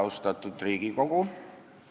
Austatud Riigikogu!